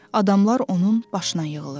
Adamlar onun başına yığılırdı.